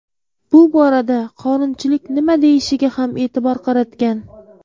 Bu borada qonunchilik nima deyishiga ham e’tibor qaratgan.